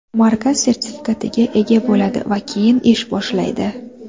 Markaz sertifikatiga ega bo‘ladi va keyin ish boshlaydi.